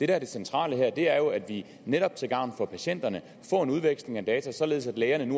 er det centrale her er jo at vi netop til gavn for patienterne får en udveksling af data således at lægerne